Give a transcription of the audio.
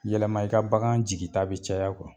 Yɛlɛma i ka bagan jigi ta bɛ caya